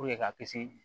ka kisi